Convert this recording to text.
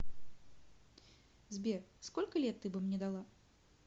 сбер сколько лет ты бы мне дала